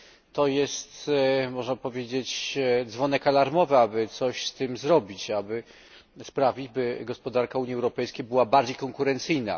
To jest, można powiedzieć, dzwonek alarmowy, aby coś z tym zrobić, aby sprawić, by gospodarka Unii Europejskiej była bardziej konkurencyjna.